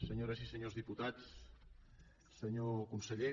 senyores i senyors diputats senyor conseller